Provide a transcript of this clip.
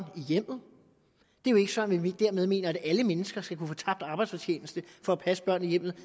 i hjemmet det er jo ikke sådan at vi dermed mener at alle mennesker skal kunne få tabt arbejdsfortjeneste for at passe børn i hjemmet